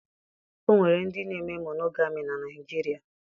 O nwere ndị na-eme monogami na Naịjirịa